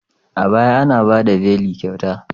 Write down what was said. A baya, ana ba da beli kyauta.